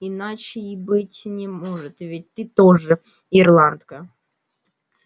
иначе и быть не может ведь ты тоже ирландка